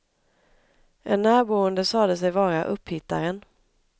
En närboende sade sig vara upphittaren.